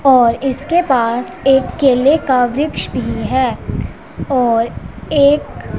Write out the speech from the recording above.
और इसके पास एक केले का वृक्ष भी हैं और एक--